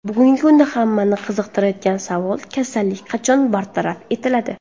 Bugungi kunda hammani qiziqtirayotgan savol, kasallik qachon bartaraf etiladi?